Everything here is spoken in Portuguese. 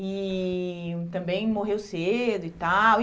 E também morreu cedo e tal.